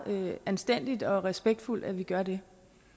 anstændigt og respektfuldt at vi gør det